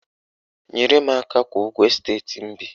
Nyere m aka kwụọ ụgwọ esteti m bi